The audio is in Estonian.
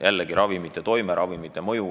Jällegi, ravimite toime, ravimite mõju.